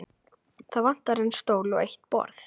Það vantar einn stól og eitt borð.